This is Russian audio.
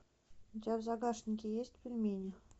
у тебя в загашнике есть пельмени